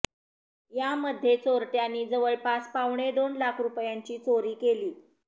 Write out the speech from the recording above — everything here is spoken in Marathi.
यामध्ये चोरट्यानी जवळपास पावणे दोन लाख रूपयांची चोरी केली